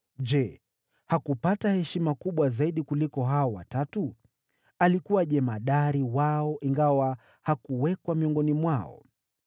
Je, hakupata heshima kubwa zaidi kuliko hao Watatu? Alikuwa jemadari wao, ingawa hakuhesabiwa miongoni mwao.